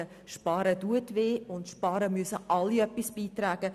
Sparen tut weh, und zum Sparen müssen alle beitragen.